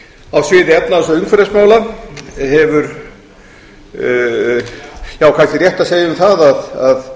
á svið efnahags og umhverfismála hefur já kannski rétt að segja um það að